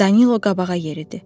Danilo qabağa yeridi.